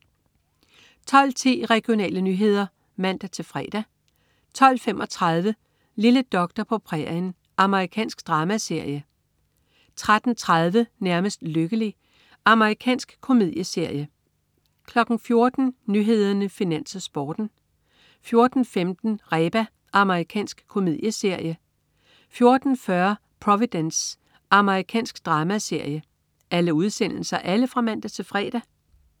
12.10 Regionale nyheder (man-fre) 12.35 Lille doktor på prærien. Amerikansk dramaserie (man-fre) 13.30 Nærmest lykkelig. Amerikansk komedieserie (man-fre) 14.00 Nyhederne, Finans, Sporten (man-fre) 14.15 Reba. Amerikansk komedieserie (man-fre) 14.40 Providence. Amerikansk dramaserie (man-fre)